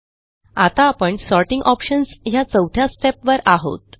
आता आपण sorting options ह्या चौथ्या स्टेप वर आहोत